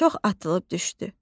Çox atılıb düşdü.